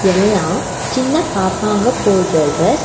எல்லா சின்ன பாப்பாங்க போட்ற டிரஸ் .